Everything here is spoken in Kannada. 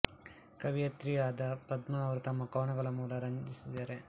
ಕವಿಯತ್ರಿಯೂ ಆದ ಪದ್ಮಾ ಅವರು ತಮ್ಮ ಕವನಗಳ ಮೂಲಕ ರಂಜಿಸಿದ್ದಾರೆ